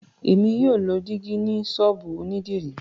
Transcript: Émi yóò ló dìgí ni sọ́ọ̀bù onidiri